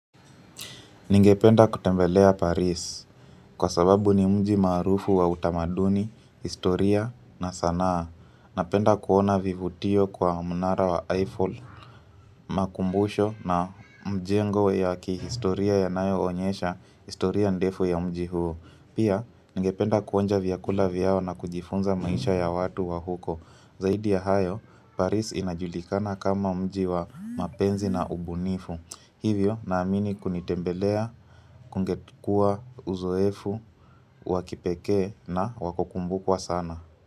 Ningependa kutembelea Paris kwa sababu ni mji maarufu wa utamaduni, historia na sanaa. Napenda kuona vivutio kwa mnara wa Eiffel, makumbusho na mjengo ya kihistoria yanayo onyesha, historia ndefu ya mji huo. Pia, ningependa kuonja vyakula vyao na kujifunza maisha ya watu wa huko. Zaidi ya hayo, Paris inajulikana kama mji wa mapenzi na ubunifu. Hivyo na amini kunitembelea, kungetukua uzoefu, wakipekee na wakukumbukwa sana.